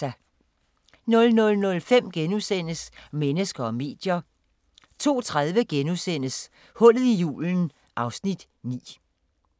00:05: Mennesker og medier * 02:30: Hullet i julen (Afs. 9)*